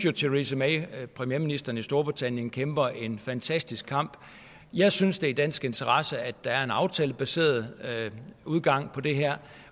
at theresa may premierministeren i storbritannien kæmper en fantastisk kamp jeg synes det er i dansk interesse at der er en aftalebaseret udgang på det her